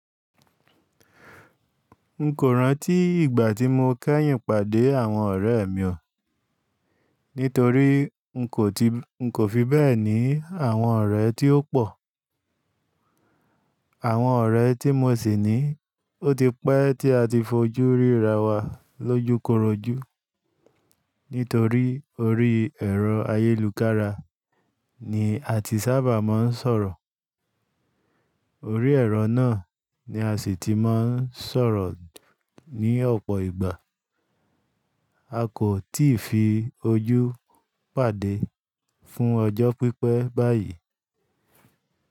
N kò rántí ìgbà tí mo kẹ́yìn pàdé àwọn ọ̀rẹ́ mi o. Nítorí n kò fi bẹ́ẹ̀ ní àwọn ọ̀rẹ́ tí ó pọ̀. Àwọn ọ̀rẹ́ tí mo sì ní, ó ti pẹ́ tí a ti fojú ríra wa lójúkorojú. Nítorí orí ẹ̀rọ ayélukára ni a ti sábà máa ń sọ̀rọ̀. Orí ẹ̀rọ náà ni a sì ti máa ń sọ̀rọ̀ ní ọ̀pọ̀ ìgbà. A kò tíì fi ojú pàdé fún ọjọ́ pípẹ́ báyìí.